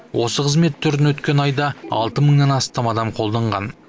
осы қызмет түрін өткен айда алты мыңнан астам адам қолданған